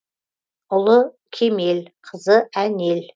ұлы кемел қызы әнел